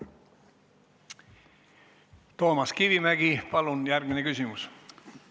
Toomas Kivimägi, palun, järgmine küsimus!